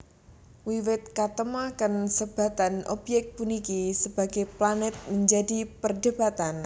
Wiwit katemoaken sebatan obyék puniki sebagai planet menjadi perdebatan